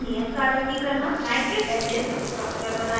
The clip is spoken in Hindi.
एक नियत कार्य की तरहनाइट्रिक एसिड hno